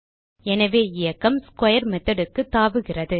எனவே இயக்கம் ஸ்க்வேர் methodக்கு தாவுகிறது